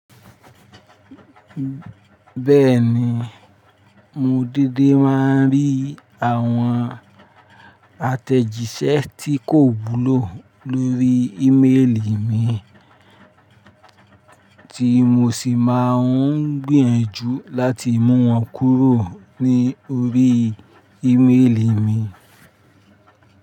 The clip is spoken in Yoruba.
Bẹ́ẹ̀ni, mo dédé máa ń rí àwọn àtẹ̀jíṣẹ́ tí kò wúlò lórí íméèlí mi, tí mo sì máa ń gbìyànjú láti mú wọn kúrò ní orí íméèlí mi.